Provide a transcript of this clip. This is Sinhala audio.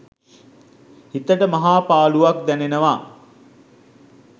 හිතට මහා පාළුවක් දැනෙනවා.